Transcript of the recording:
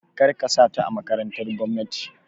Kar ka sa ta a makarantar gwamnati!